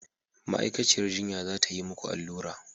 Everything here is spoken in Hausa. Ma'aikaciyar jinya za ta yi muku allura.